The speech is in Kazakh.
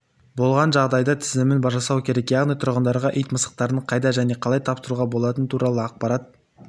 болған жағдайда тізімін жасау керек яғни тұрғындарға ит-мысықтарының қайда және қалай тапсыруға болатыны туралы ақпарат